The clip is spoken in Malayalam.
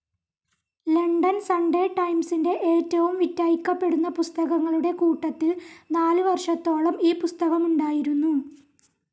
ലണ്ടൻ സൺഡേ ടൈംസിൻ്റെ ഏറ്റവും വിറ്റഴിക്കപ്പെടുന്ന പുസ്തകങ്ങളുടെ കൂട്ടത്തിൽ നാലു വർഷത്തോളം ഈ പുസ്തകമുണ്ടായിരുന്നു.